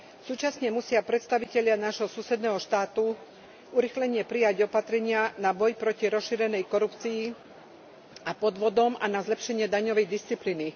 Súčasne musia predstavitelia nášho susedného štátu urýchlene prijať opatrenia na boj proti rozšírenej korupcii a podvodom a na zlepšenie daňovej disciplíny.